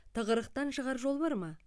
тығырықтан шығар жол бар ма